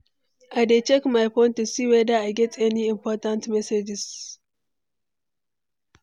i dey check my phone to see whether i get any important messages.